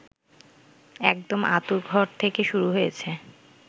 একদম আঁতুড়ঘর থেকে শুরু হয়েছে